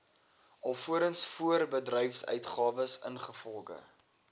alvorens voorbedryfsuitgawes ingevolge